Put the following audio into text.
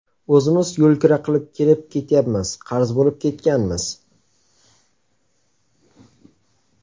O‘zimiz yo‘lkira qilib kelib ketyapmiz, qarz bo‘lib ketganmiz.